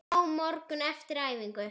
Á morgun, eftir æfingu?